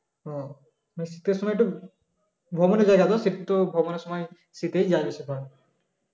ও মানে শীতের সময় একটু ভ্রমনে ভ্রমনের সময় শীতে যাবে সেটা